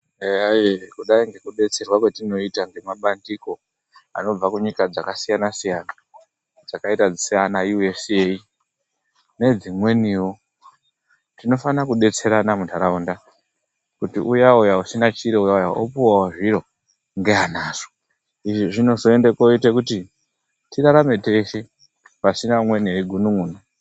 Eyae kudai ngekudetserwa kwetinoita ngemabandiko anobva kunyika dzakasiyana-siyana dzakaita saana USA nedzimweniwo. Tinofana kudetserana mundaraunda kuti uya uya usina chiro uyana opuwawo zviro ngeanazvo. Izvi zvinozoite kuti tirarame teshe, pasina umweni eigunun'una.